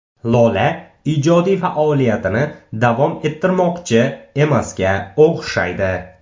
Lola ijodiy faoliyatini davom ettirmoqchi emasga o‘xshaydi.